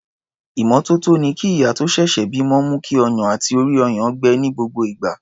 Ìmọ́tótó ni kí ìyá tó ṣẹ̀ṣẹ̀ bímọ mú kí ọyàn àti orí-ọyàn gbẹ ní gbogbo ìgbà.